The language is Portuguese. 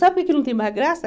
Sabe por que não tem mais graça?